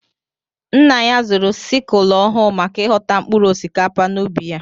Nna ya zụrụ sikul ọhụụ maka ighọta mkpụrụ osikapa n'ubi ya.